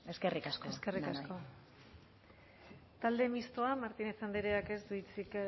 eskerrik asko eskerrik asko talde mistoa martínez andreak ez du hitzik